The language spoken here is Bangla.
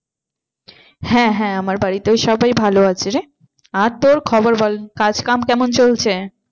হ্যাঁ হ্যাঁ আমার বাড়িতেও সব ভালো আছে রে আর তোর খবর বল কাজ কেমন চলছে?